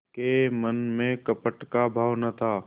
के मन में कपट का भाव न था